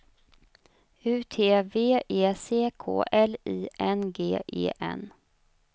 U T V E C K L I N G E N